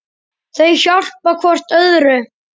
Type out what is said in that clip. Þau hjálpa hvort öðru.